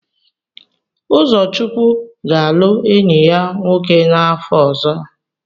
Ụzọchukwu ga-alụ enyi ya nwoke n'afọ ọzọ.